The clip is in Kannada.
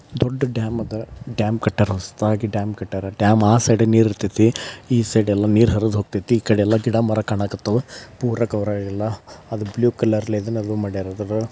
ದೊಡ್ಡ ಡ್ಯಾಮ್ ಅದ ಡ್ಯಾಮ್ ಕಟ್ಯಾರ ಹೊಸ್ದಾಗಿ ಡ್ಯಾಮ್ ಕಟ್ಯಾರ. ಆ ಸೈಡಿ ಗ್ ನೀರ್ ಇರತೈತಿ ಈ ಸೈಡ್ ಎಲ್ಲಾ ನೀರ್ ಹರ್ದೋಗತೈತಿ. ಈ ಕಡಿ ಎಲ್ಲಾ ಗಿಡಮರ ಕಾಣಕತ್ತಾವು. ಪೂರ ಕವರಾಗಿಲ್ಲ ಅದು ಬ್ಲೂ ಕಲ್ರದು ಎದೆನೋ ಮಾಡ್ಯಾರ್ ಅದು.